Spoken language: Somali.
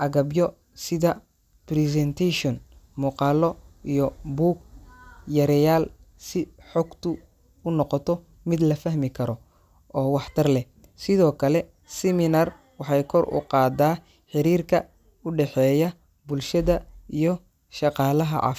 agabyo sida presentation, muuqaallo, iyo buug-yareyaal si xogtu u noqoto mid la fahmi karo oo waxtar leh. Sidoo kale, seminar waxay kor u qaaddaa xiriirka u dhexeeya bulshada iyo shaqaalaha caaf.